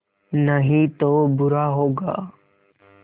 नहीं तो बुरा होगा